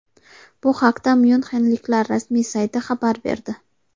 Bu haqda myunxenliklar rasmiy sayti xabar berdi.